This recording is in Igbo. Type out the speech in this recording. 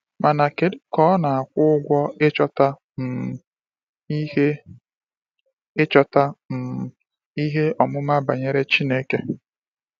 Mana kedu ka ọ na-akwụ ụgwọ ịchọta um “ihe ịchọta um “ihe ọmụma banyere Chineke”!